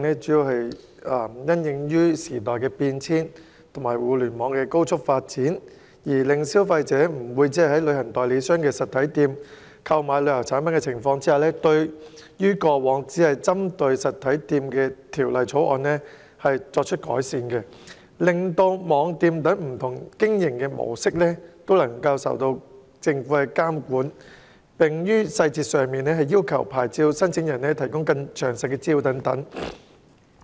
隨着時代變遷及互聯網高速發展，消費者不會只在旅行代理商的實體店購買旅遊產品，因此政府提出修正案，對於過往只針對實體店的《條例草案》作出改善，令網店等不同經營模式受政府監管，並要求牌照申請人提供更詳盡的資料。